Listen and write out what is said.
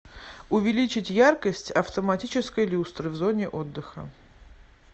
увеличить яркость автоматической люстры в зоне отдыха